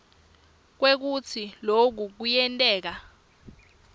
kwekutsi loku kuyenteka